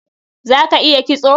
Za ka iya kitso?